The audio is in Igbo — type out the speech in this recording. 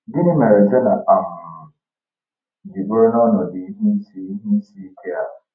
Gịnị mere Jona um ji bụrụ n’ọnọdụ ihe isi ihe isi ike a?